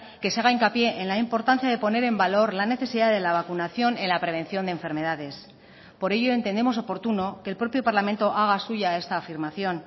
que se haga hincapié en la importancia de poner en valor la necesidad de la vacunación en la prevención de enfermedades por ello entendemos oportuno que el propio parlamento haga suya esta afirmación